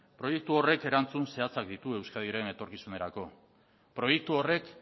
proiektu horrek erantzun zehatzak ditu euskadiren etorkizunerako proiektu horrek